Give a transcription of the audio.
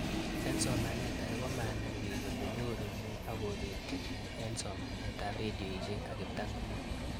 Eng' somanet ag'e komanai pik kole nyoru neeako peti nee eng' somanet ab redioshek ak kiptang'anyit